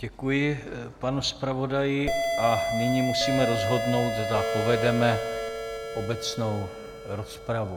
Děkuji panu zpravodaji a nyní musíme rozhodnout, zda povedeme obecnou rozpravu.